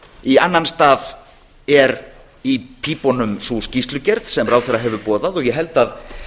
í annan stað er í pípunum sú skýrslugerð sem ráðherra hefur boðað og ég held að